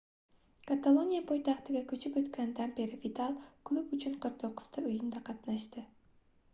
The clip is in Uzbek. kataloniya poytaxtiga koʻchib oʻtganidan beri vidal klub uchun 49 ta oʻyinda qatnashdi